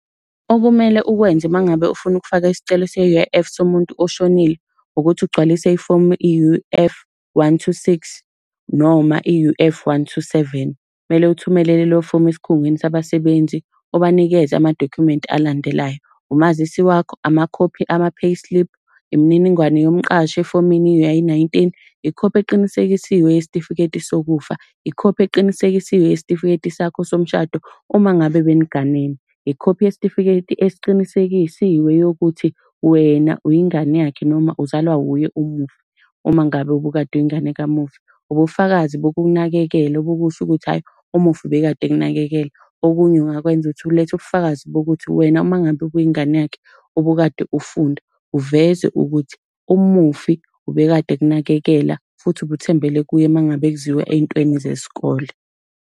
Okumele ukwenze uma ngabe ufuna ukufaka isicelo se-U_I_F somuntu oshonile, ukuthi ugcwalise ifomu i-U_F one two six noma i-U_F one two seven. Kumele uthumele lelo fomu esikhungweni sabasebenzi ubanikeze amadokhumenti alandelayo. Umazisi wakho, amakhophi ama-payslip, imininingwane yomqashi efomini i-U_I nineteen, ikhophi eqinisekisiwe yesitifiketi sokufa, ikhophi eqinisekisiwe yesitifiketi sakho somshado uma ngabe beniganene. Ikhophi yesitifiketi esiqinisekisiwe yokuthi wena uyingane yakhe, noma uzalwa uye umufi, uma ngabe ubukade uyingane kamufi. Ubufakazi bokumnakekela obokusho ukuthi hhayi umufi ubekade ekunakekela. Okunye ungakwenza ukuthi ulethe ubufakazi bokuthi wena uma ngabe ubuyingane yakhe, ubukade ufunda, uveze ukuthi umufi ubekade ekunakekela futhi ubuthembele kuye uma ngabe kuziwa ezintweni zesikole.